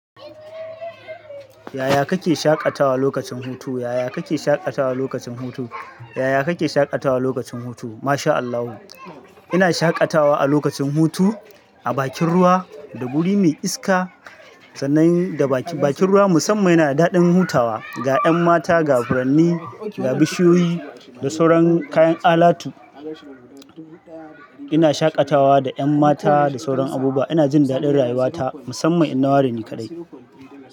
Yaya kake shaƙatawa lokacin hutu? Yaya kake shaƙatawa lokacin hutu? Yaya kake shaƙatawa lokacin hutu? Ma sha Allahu. Ina shaƙatawa a lokacin hutu a bakin ruwa da guri mai iska sannan da bakin ruwa musamman yana da daɗin hutawa ga 'yan mata, ga furanni, ga bishiyoyi da sauran kayan alatu. Ina shaƙatawa da 'yan mata da sauran abubuwa. Ina jin daɗin rayuwata musamman in nawa reni kaɗai.